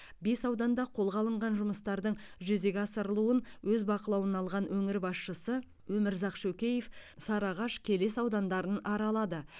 бес ауданда қолға алынған жұмыстардың жүзеге асырылуын өз бақылауына алған өңір басшысы өмірзақ шөкеев сарыағаш келес аудандарын аралады